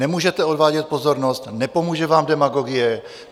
Nemůžete odvádět pozornost, nepomůže vám demagogie.